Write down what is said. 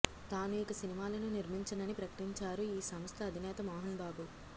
తాను ఇక సినిమాలను నిర్మించనని ప్రకటించారు ఈ సంస్థ అధినేత మోహన్బాబు